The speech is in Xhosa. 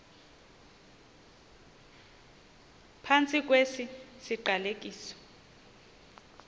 phantsi kwesi siqalekiso